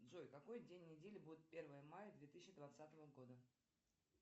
джой какой день недели будет первое мая две тысячи двадцатого года